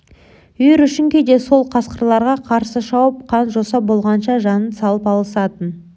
үйірі үшін кейде сол қасқырларға қарсы шауып қан-жоса болғанша жанын салып алысатын